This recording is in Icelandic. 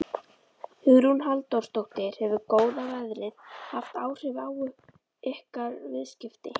Hugrún Halldórsdóttir: Hefur góða veðrið haft áhrif á ykkar viðskipti?